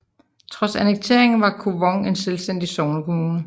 Trods annekteringen var Kvong en selvstændig sognekommune